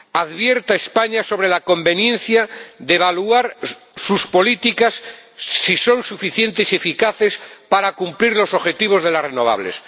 advierte a España sobre la conveniencia de evaluar sus políticas, si son suficientes y eficaces para cumplir los objetivos de las energías renovables.